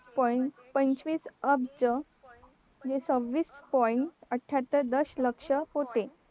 point पंचवीस अब्ज सव्वीस point अठ्याहत्तर दश लक्ष होते